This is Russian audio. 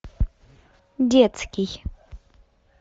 детский